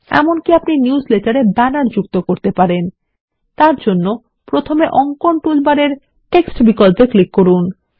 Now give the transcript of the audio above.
এমনকি আপনি নিউজলেটারে ব্যানার যুক্ত করতে পারেন তারজন্য প্রথমে অঙ্কন টুলবারের টেক্সট বিকল্পে ক্লিক করুন